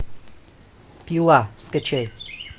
пила скачай